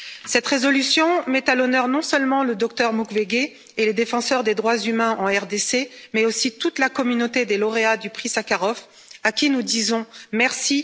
Cette résolution met à l'honneur non seulement le Dr Mukwege et les défenseurs des droits humains en RDC, mais aussi toute la communauté des lauréats du prix Sakharov, à qui nous disons merci.